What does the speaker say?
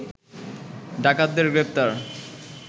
ডাকাতদের গ্রেপ্তার